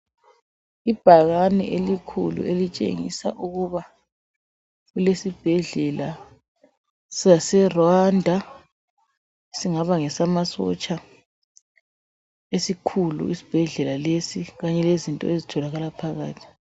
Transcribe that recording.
Ibhakani eilkhulu elitshengisa ukuba kulesibhedlela sase Rwanda, singaba ngesamasotsha esikhulu isibhedlela lesi Kanye lezinto ezitholakala phakathi.